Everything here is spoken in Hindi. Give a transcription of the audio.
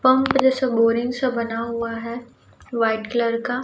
पंप जैसा बोरिंग सा बना हुआ है व्हाइट कलर का।